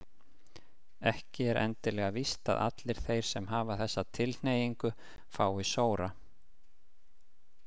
Ekki er endilega víst að allir þeir sem hafa þessa tilhneigingu fái sóra.